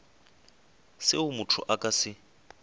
seo motho a ka se